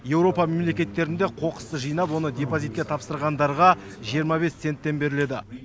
еуропа мемлектеттерінде қоқысты жинап оны депозитке тапсырғандарға жиырма бес центтен беріледі